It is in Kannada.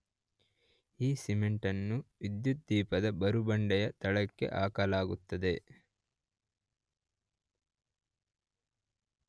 ಈ ಸಿಮೆಂಟನ್ನು ವಿದ್ಯುದ್ದೀಪದ ಬುರುಡೆಯ ತಳಕ್ಕೆ ಹಾಕಲಾಗುತ್ತದೆ